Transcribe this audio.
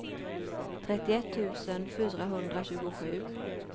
trettioett tusen fyrahundratjugosju